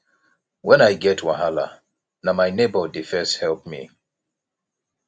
wen i get wahala na my nebor dey first help me